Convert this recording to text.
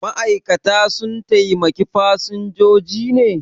Ma'aikata sun taimaki fasinjoji ne?